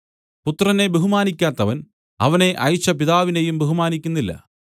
പുത്രനെ ബഹുമാനിയ്ക്കാത്തവൻ അവനെ അയച്ച പിതാവിനെയും ബഹുമാനിക്കുന്നില്ല